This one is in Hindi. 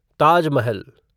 ताज महल